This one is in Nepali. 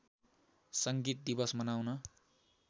सङ्गीत दिवस मनाउन